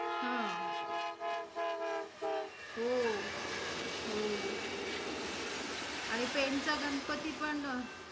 हम्म हो. हो. आणि पेन चा गणपती पण~ अं